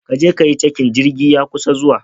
Ka je ka yi cakin, jirgi ya kusa zuwa.